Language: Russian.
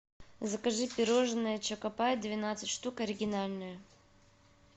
закажи пирожное чокопай двенадцать штук оригинальное